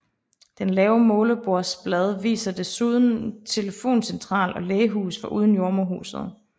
Det lave målebordsblad viser desuden telefoncentral og lægehus foruden jordemoderhuset